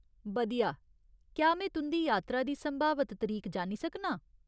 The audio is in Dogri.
बधिया! क्या में तुं'दी यात्रा दी संभावत तरीक जानी सकनां?